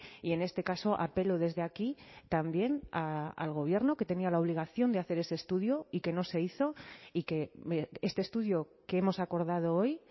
y en este caso apelo desde aquí también al gobierno que tenía la obligación de hacer ese estudio y que no se hizo y que este estudio que hemos acordado hoy